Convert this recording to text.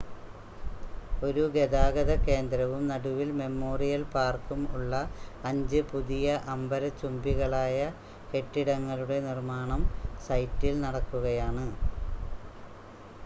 ഒരു ഗതാഗത കേന്ദ്രവും നടുവിൽ മെമ്മോറിയൽ പാർക്കും ഉള്ള അഞ്ച് പുതിയ അംബരചുംബികളായ കെട്ടിടങ്ങളുടെ നിർമ്മാണം സൈറ്റിൽ നടക്കുകയാണ്